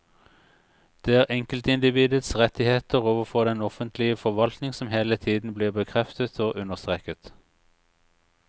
Det er enkeltindividets rettigheter overfor den offentlige forvaltning som hele tiden blir bekreftet og understreket.